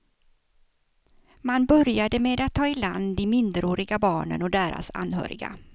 Man började med att ta iland de minderåriga barnen och deras anhöriga.